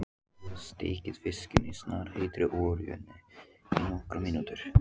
Steikið fiskinn í snarpheitri olíunni í nokkrar mínútur.